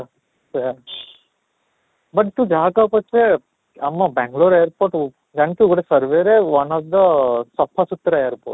ସେଇୟା but ତୁ ଯାହା କହ ପଛେ ଆମ ବାଙ୍ଗାଲୁର airport ଜାଣିଛୁ ଗୋଟେ survey ରେ one of the ସଫା ସୁତୁରା airport